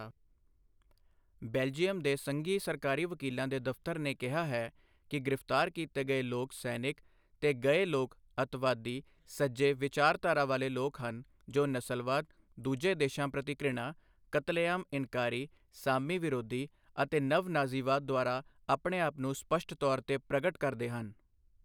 Belgium ਦੇ ਸੰਘੀ ਸਰਕਾਰੀ ਵਕੀਲਾਂ ਦੇ ਦਫ਼ਤਰ ਨੇ ਕਿਹਾ ਹੈ ਕਿ ਗ੍ਰਿਫਤਾਰ ਕੀਤੇ ਗਏ ਲੋਕ ਸੈਨਿਕ ਤੇ ਗਏ ਲੋਕ ਅਤਿਵਾਦੀ ਸੱਜੇ ਵਿਚਾਰਧਾਰਾ ਵਾਲੇ ਲੋਕ ਹਨ ਜੋ ਨਸਲਵਾਦ, ਦੂਜੇ ਦੇਸ਼ਾਂ ਪ੍ਰਤੀ ਘਿਰਨਾ, ਕਤਲੇਆਮ ਇਨਕਾਰੀ, ਸਾਮੀ ਵਿਰੋਧੀ ਅਤੇ ਨਵ ਨਾਜ਼ੀਵਾਦ ਦੁਆਰਾ ਆਪਣੇ ਆਪ ਨੂੰ ਸਪਸ਼ਟ ਤੌਰ 'ਤੇ ਪ੍ਰਗਟ ਕਰਦੇ ਹਨ।